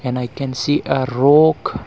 and i can see a rock